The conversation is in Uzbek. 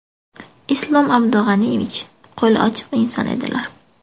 Islom Abdug‘aniyevich qo‘li ochiq inson edilar.